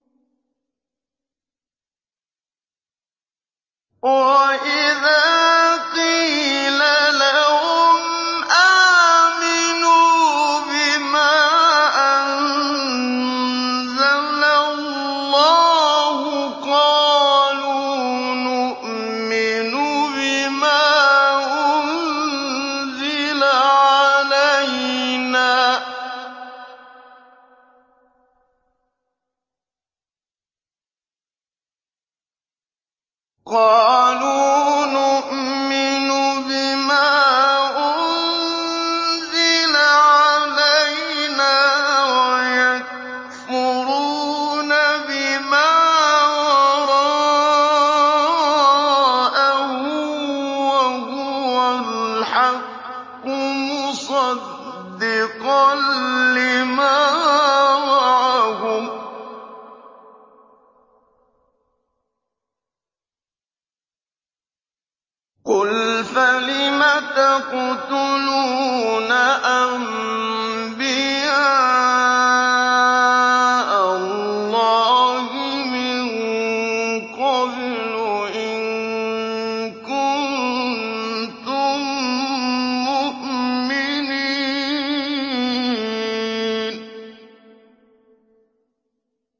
وَإِذَا قِيلَ لَهُمْ آمِنُوا بِمَا أَنزَلَ اللَّهُ قَالُوا نُؤْمِنُ بِمَا أُنزِلَ عَلَيْنَا وَيَكْفُرُونَ بِمَا وَرَاءَهُ وَهُوَ الْحَقُّ مُصَدِّقًا لِّمَا مَعَهُمْ ۗ قُلْ فَلِمَ تَقْتُلُونَ أَنبِيَاءَ اللَّهِ مِن قَبْلُ إِن كُنتُم مُّؤْمِنِينَ